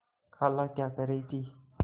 खाला क्या कह रही थी